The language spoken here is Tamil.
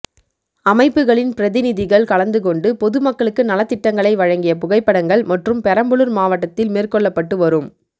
அமைப்புகளின் பிரதிநிதிகள் கலந்துகொண்டு பொதுமக்களுக்கு நலத்திட்டங்களை வழங்கிய புகைப்படங்கள் மற்றும் பெரம்பலூர் மாவட்டத்தில் மேற்கொள்ளப்பட்டு வரும்